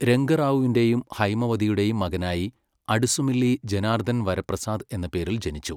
രംഗ റാവുവിന്റെയും ഹൈമവതിയുടെയും മകനായി അഡുസുമില്ലി ജനാർദൻ വര പ്രസാദ് എന്ന പേരിൽ ജനിച്ചു.